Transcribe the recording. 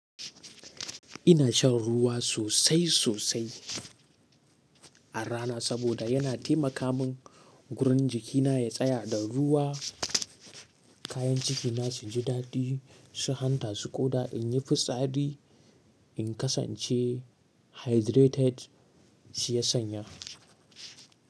Ina shan ruwa sosai sosai a rana saboda yana taimaka min gurin jikina ya tsaya da ruwa. Kayan ciki na su ji daɗi su hanta, su ƙoda, in yi fitsari in kasance hydrated shiya sanya.